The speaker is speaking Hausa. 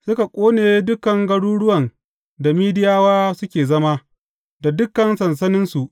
Suka ƙone dukan garuruwan da Midiyawa suke zama, da dukan sansaninsu.